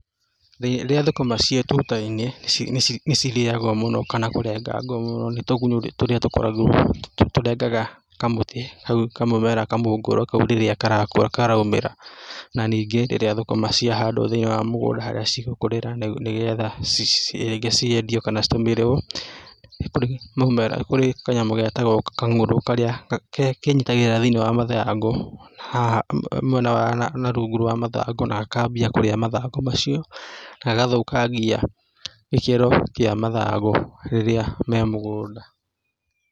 Rĩrĩa thũkũma ciĩ tuta-inĩ, nĩ cirĩagwo mũno kana kũrengagwo mũno nĩ tũgunyũ tũrĩa tũkoragwo, tũrĩa tũrengaga kamũtĩ hau kamũmera, kamũngũrwa kau rĩrĩa karakũra, karaumĩra, na ningĩ rĩrĩa thũkũma ciahandwo thĩ-inĩ wa mũgũnda harĩa cigũkũrĩra nĩgetha rĩngĩ ciendio kana citũmĩrwo, nĩ kũrĩ mũmera, nĩ kũrĩ kanyamũ getagwo kang'ũrũ karĩa kenyitagĩrĩra thĩ-inĩ wa mathangũ, haha mwena na rungũ wa mathangũ na gakambia kũra mathangũ macio, na gagathũkangĩa gĩkĩro ka mathangũ rĩrĩa me mũgũnda.